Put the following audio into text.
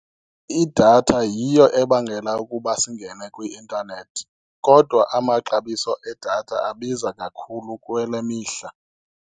Idatha yiyo ebangela ukuba singene kwi-intanethi kodwa amaxabiso edatha abiza kakhulu kule mihla.